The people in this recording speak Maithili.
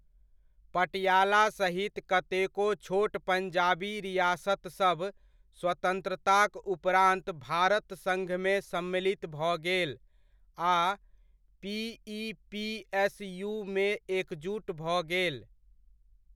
पटियाला सहित कतेको छोट पंजाबी रियासतसभ स्वतंत्रताक उपरान्त भारत संङ्घमे सम्मिलित भऽ गेल आ पी.इ.पी.एस.यू.मे एकजुट भऽ गेल।